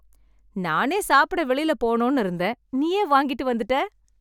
நானே சாப்பிட வெளியில போனோம்னு இருந்தேன் நீயே வாங்கிட்டு வந்திட்ட